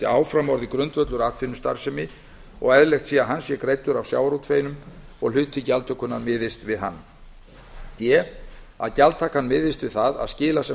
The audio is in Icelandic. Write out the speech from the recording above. áfram orðið grundvöllur atvinnustarfsemi og eðlilegt sé að hann sé greiddur af sjávarútveginum og að hluti gjaldtökunnar miðist við hann d að gjaldtakan miðist við það að skila sem